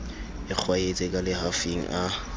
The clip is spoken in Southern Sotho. e kgwaetse ka lehafing a